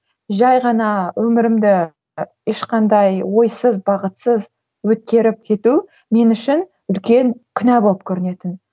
жай ғана өмірімді ешқандай ойсыз бағытсыз өткеріп кету мен үшін үлкен күнә болып көрінетін